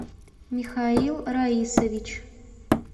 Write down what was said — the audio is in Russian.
михаил раисович